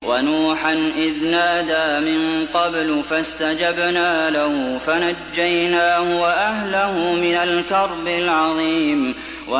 وَنُوحًا إِذْ نَادَىٰ مِن قَبْلُ فَاسْتَجَبْنَا لَهُ فَنَجَّيْنَاهُ وَأَهْلَهُ مِنَ الْكَرْبِ الْعَظِيمِ